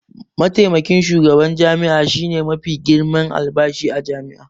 Mataimakin shugaban jami'a shine mafi girman albashi a jami'a.